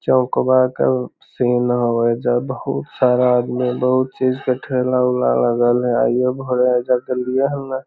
चौक बा के सीन हवे ओयजा बहुत सारा आदमी बहुत चीज के ठेला उला लगल हेय --